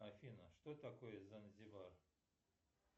афина что такое занзибар